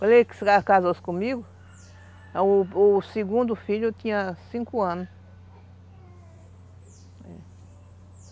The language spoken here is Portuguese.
Quando ele casou-se comigo, o o segundo filho tinha cinco anos.